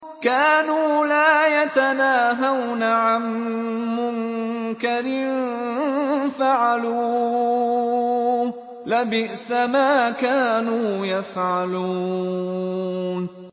كَانُوا لَا يَتَنَاهَوْنَ عَن مُّنكَرٍ فَعَلُوهُ ۚ لَبِئْسَ مَا كَانُوا يَفْعَلُونَ